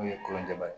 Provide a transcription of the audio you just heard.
N'o yelen tɛ ba ye